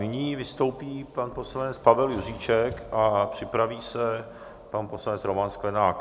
Nyní vystoupí pan poslanec Pavel Juříček a připraví se pan poslanec Roman Sklenák.